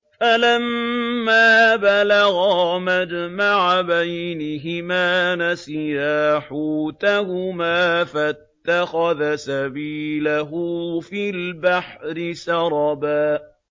فَلَمَّا بَلَغَا مَجْمَعَ بَيْنِهِمَا نَسِيَا حُوتَهُمَا فَاتَّخَذَ سَبِيلَهُ فِي الْبَحْرِ سَرَبًا